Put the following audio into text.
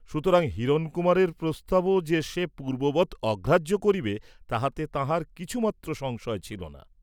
সুতরাং হিরণকুমারের প্রস্তাবও যে সে পূর্ব্ববৎ অগ্রাহ্য করিবে তাহাতে তাঁহার কিছুমাত্র সংশয় ছিল না।